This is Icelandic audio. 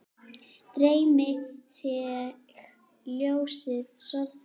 Dreymi þig ljósið, sofðu rótt